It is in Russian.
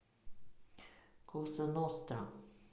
коза ностра